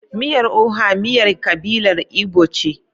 Miyar Oha Miyar kabilar Igbo ce.